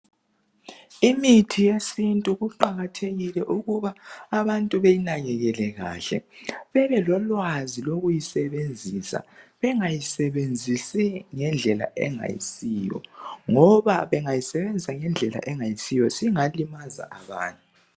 Imithi yesintu kuqakathekile ukuba abantu beyinakekele kahle. Bebelolwazi lokuyisebenzisa. Bengayisebenzisi ngendlela engayisiyo. Ngoba bengayisebenzisa ngendlela engayisiyo singalimaza abantu.